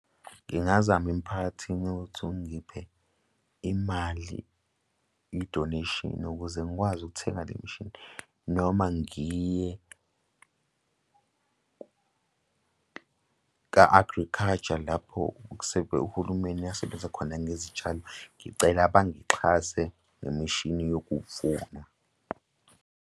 Ngingazama emiphakathini uthi ungiphe imali i-donation nokuze ngikwazi ukuthenga le mishini noma ngiye ka-Agriculture lapho uhulumeni asebenza khona ngezitshalo, ngicela bangixhase ngemishini yokuvuna.